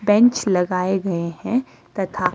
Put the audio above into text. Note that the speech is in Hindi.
बेंच लगाए गए हैंतथा--